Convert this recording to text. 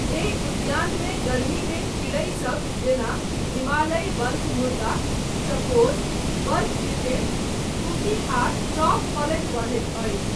एहि उद्यानमे गर्मीमे चिड़ै सब जेना हिमालयी बर्फमुर्गा, चकोर, बर्फ तितिर, तूती आ चॉफ पलैत बढ़ैत अछि।